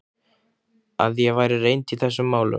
Að ég væri reynd í þessum málum?